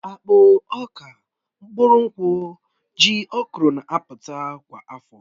Akpụ, Ọ̀ka, mkpụrụ nkwụ, ji, okro na-apụta kwa afọ